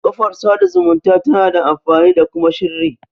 Kafar sada zumunta tana da amfani da kuma shirri